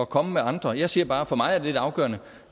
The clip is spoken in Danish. komme med andre jeg siger bare for mig er det afgørende